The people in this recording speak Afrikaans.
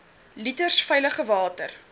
liters veilige water